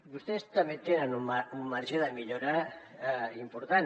vostès també tenen un marge de millora important